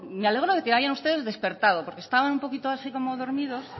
me alegro de que hayan ustedes despertado porque estaban un poquito así como dormidos